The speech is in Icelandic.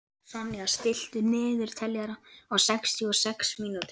Sonja, stilltu niðurteljara á sextíu og sex mínútur.